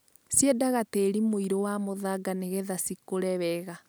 Ciendaga tĩri mũirũ wa mũthanga nĩgetha cikũre wega.